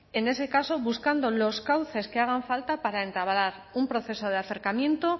en ese caso buscando los cauces que hagan falta para entablar un proceso de acercamiento